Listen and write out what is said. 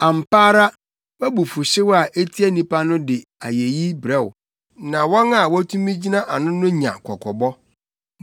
Ampa ara wʼabufuwhyew a etia nnipa no de ayeyi brɛ wo, na wɔn a wotumi gyina ano no nya kɔkɔbɔ.